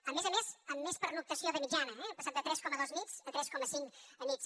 a més a més amb més pernoctació de mitjana eh hem passat de tres coma dos nits a tres coma cinc nits